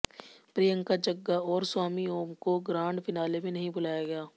प्रियंका जग्गा और स्वामी ओम को grand finale में नहीं बुलाया गया